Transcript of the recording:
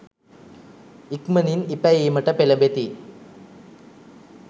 ඉක්මනින් ඉපැයීමට පෙළඹෙති.